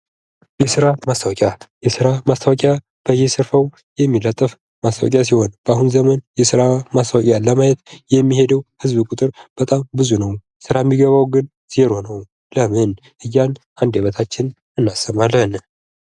የስራ ማስታወቂያ የስራ ማስታወቂያ በየስርፋው የሚለጠፍ ማስታወቂያ ሲሆን በአሁን ዘመን የስራ ማስታወቂያ ለማየት የሚሄደው ህዝብ ቁጥር ብዙ ነው። ስራ የሚገባው ግን ዜሮ ነው። ለምን እያልን አንደበታችንን እናስባለን።